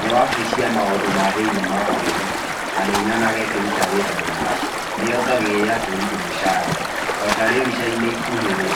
Nĩ wabici ya maũndũ ma thĩinĩ ma bũrũri na nĩ nyonaga ĩkĩruta wĩra mwega, nĩyongagĩrĩra borithi mũcara ota rĩu icainĩ ikuhĩ rĩ